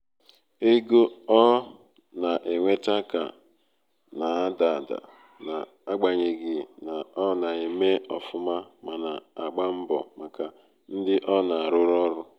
ego ọ na-enweta ka na-ada ada n'agbanyeghị na ọ na- eme ofuma mana agba mbo maka ndi o na aruru oru.